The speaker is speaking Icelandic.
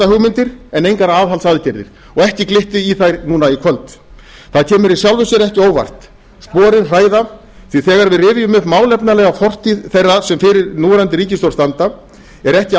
útgjaldahugmyndir en engar aðhaldsaðgerðir og ekki glytti í þær núna í kvöld það kemur í sjálfu sér ekki á óvart sporin hræða því þegar við rifjum upp málefnalega fortíð þeirra sem fyrir núverandi ríkisstjórn standa er ekki